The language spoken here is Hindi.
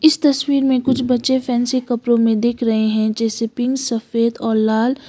तस्वीर मे कुछ बच्चे फैंसी कपड़ो मे दिख रहे है जैसे पिंक सफेद और लाल--